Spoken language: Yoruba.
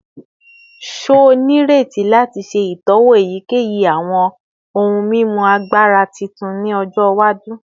Ṣe o nreti lati ṣe itọwo eyikeyi awọn ohun mimu agbara titun ni ọjọ iwaju?